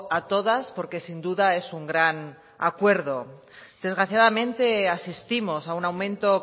a todas porque sin duda es un gran acuerdo desgraciadamente asistimos a un aumento